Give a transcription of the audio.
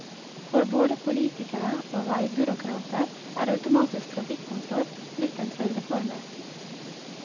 For både politikere og veibyråkrater er automatisk trafikkontroll blitt en trylleformel.